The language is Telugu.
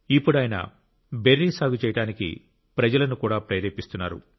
ఇప్పుడు ఆయన బెర్రీ సాగు చేయడానికి ప్రజలను కూడా ప్రేరేపిస్తున్నారు